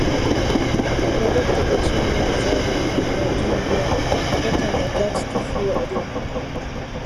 my doctor explain menstrual health and hygiene well na that time i gatz the full idea